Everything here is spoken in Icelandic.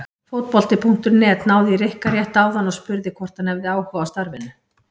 Fótbolti.net náði í Rikka rétt áðan og spurði hvort hann hefði áhuga á starfinu?